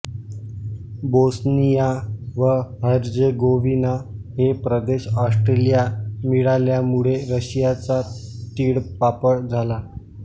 Bosnia व Herzegovina हे प्रदेश ऑस्ट्रियाला मिळाल्यामुळे रशियाचा तिळपापड झाला